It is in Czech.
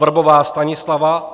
Vrbová Stanislava